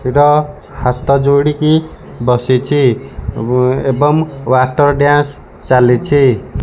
ଏଟା ହାତ ଯୋଡ଼ିକି ବସିଛି ଏବଂ ୱାଟର୍ ଡ଼୍ୟାନ୍ସ ଚାଲିଛି।